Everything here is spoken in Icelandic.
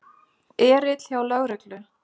Erill hjá lögreglu